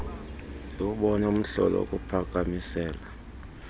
ndiwubone umhlola wokuphakamisela